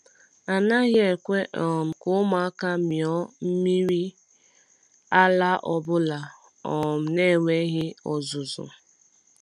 A naghị ekwe um ka ụmụaka mịọ mmiri ụmụaka mịọ mmiri ara ọbụla um na-enweghị ọzụzụ.